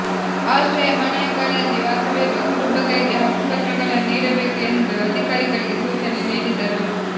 ಆಶ್ರಯ ಮನೆಗಳಲ್ಲಿವಾಸವಿರುವ ಕುಟುಂಬಗಳಿಗೆ ಹಕ್ಕುಪತ್ರಗಳನ್ನು ನೀಡಬೇಕು ಎಂದು ಅಧಿಕಾರಿಗಳಿಗೆ ಸೂಚನೆ ನೀಡಿದರು